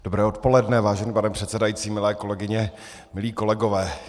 Dobré odpoledne, vážený pane předsedající, milé kolegyně, milí kolegové.